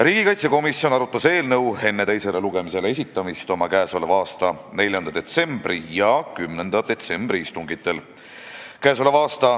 Riigikaitsekomisjon arutas eelnõu enne teisele lugemisele esitamist oma 4. detsembri ja 10. detsembri istungil.